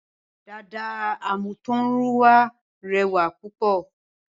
Dàda àmútọ̀runwá rẹwà púpọ̀